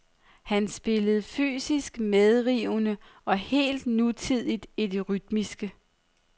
Han spillede fysisk medrivende og helt nutidigt i det rytmiske.